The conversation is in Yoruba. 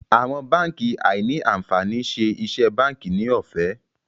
Àwọn bánkì áí ní ànfàní ṣe iṣé bánkì ní òfé.